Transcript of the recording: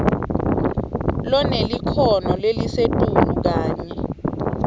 lonelikhono lelisetulu kanye